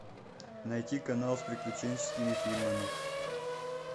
найти канал с приключенческими фильмами